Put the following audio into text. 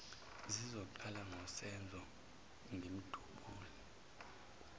ngizoqala ngosenzo ngimdubule